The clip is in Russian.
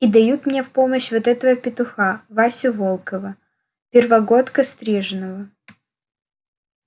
и дают мне в помощь вот этого петуха васю волкова первогодка стриженого